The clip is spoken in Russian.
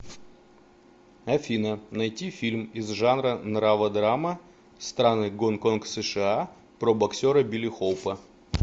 афина найти фильм из жанра нрава драма страны гон конг сша про боксера билли хоупа